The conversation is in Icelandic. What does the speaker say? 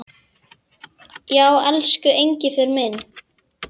Já, elsku Engifer minn.